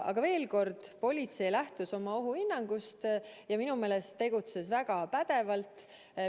Aga veel kord, politsei lähtus oma ohuhinnangust ja minu meelest tegutses väga pädevalt.